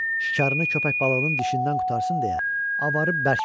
Şikarını köpək balığının dişindən qurtarsın deyə avarı bərk vurdu.